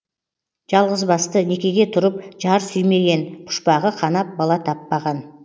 жалғызбасты некеге тұрып жар сүймеген пұшпағы қанап бала таппаған